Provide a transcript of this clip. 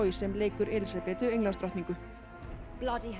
sem leikur Elísabetu